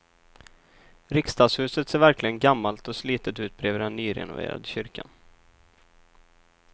Riksdagshuset ser verkligen gammalt och slitet ut bredvid den nyrenoverade kyrkan.